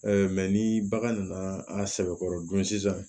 ni bagan nana a sɛbɛkɔrɔ dun sisan